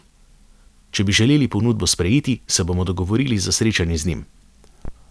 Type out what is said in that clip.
Če bi želeli ponudbo sprejeti, se bomo dogovorili za srečanje z njim.